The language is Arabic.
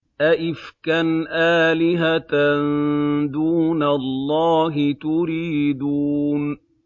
أَئِفْكًا آلِهَةً دُونَ اللَّهِ تُرِيدُونَ